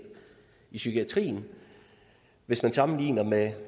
i psykiatrien hvis man sammenligner med